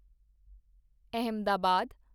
Ahmedabad